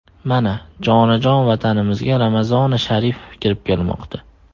Mana, jonajon Vatanimizga Ramazoni sharif kirib kelmoqda.